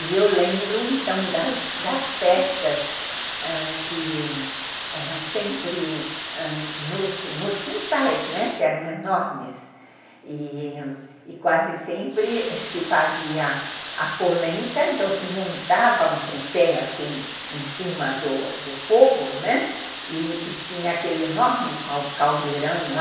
E eu lembro, então, das das festas ãh que eram sempre nos nos quintais, que eram enormes, e e quase sempre se fazia a polenta, então se montava um tripé assim em cima do fogo, né, e tinha aquele enorme caldeirão lá